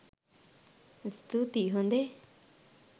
ස්තූති හොඳේ.